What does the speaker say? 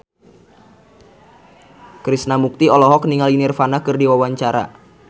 Krishna Mukti olohok ningali Nirvana keur diwawancara